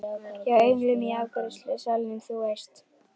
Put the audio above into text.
Hjá englinum í afgreiðslusalnum, þú veist.